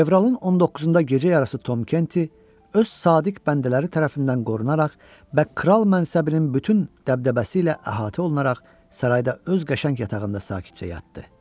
Fevralın 19-da gecə yarısı Tom Kenti öz sadiq bəndələri tərəfindən qorunaraq və kral mənsəbinin bütün dəbdəbəsi ilə əhatə olunaraq sarayda öz qəşəng yatağında sakitcə yatdı.